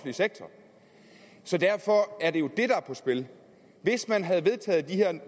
sektor så derfor er det jo det der er på spil hvis man havde vedtaget at de her